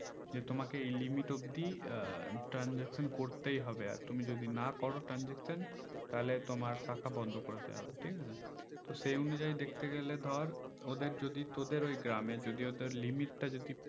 যে তোমাকে এই limit অবদি আহ transaction করতেই হবে আর তুমি যদি না করো transaction তাহলে তোমার শাখা বন্দ করে দেওয়া হবে ঠিকাছে তো সেই অনুযায়ী দেখতে গেলে ধর ওদের যদি তোদের ওই গ্রামে যদি ওদের limit তা যদি